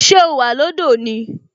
Ṣé o wà lọ́dọ̀ ni?